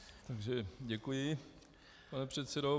Takže děkuji, pane předsedo.